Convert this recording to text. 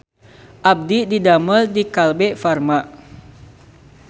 Abdi didamel di Kalbe Farma